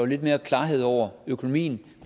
lidt mere klarhed over økonomien